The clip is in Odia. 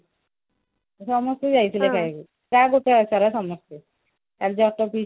ସମସ୍ତେ ଯାଇଥିଲେ ଖାଇବାକୁ ଗାଁ ଗୋଟାକ ସାରା ସମସ୍ତେ ଆଉ ବଟ ପିଇସା